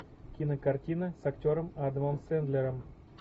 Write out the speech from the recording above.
кинокартина с актером адамом сэндлером